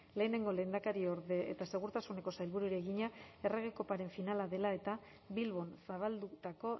lehenengo lehendakariorde eta segurtasuneko sailburuari egina errege koparen finala dela eta bilbon zabaldutako